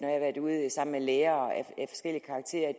har været sammen med forskellige lærere at